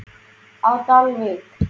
á Dalvík.